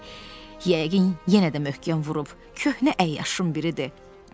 yəqin yenə də möhkəm vurub köhnə əyyaşın biridir.